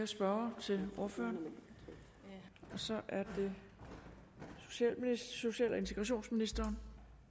spørgere til ordføreren nej så er det social og integrationsministeren